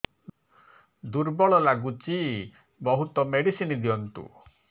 ଦୁର୍ବଳ ଲାଗୁଚି ବହୁତ ମେଡିସିନ ଦିଅନ୍ତୁ